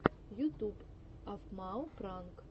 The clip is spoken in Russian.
ютуб афмау пранк